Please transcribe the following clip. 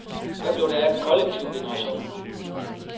Hvad blev der af kollektivgenerationen.